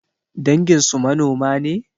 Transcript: Danginsu manoma ne?